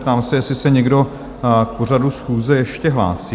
Ptám se, jestli se někdo k pořadu schůze ještě hlásí?